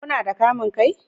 Kuna da kamun kai?